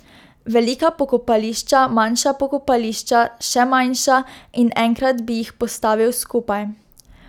Velika pokopališča, manjša pokopališča, še manjša, in enkrat bi jih postavil skupaj.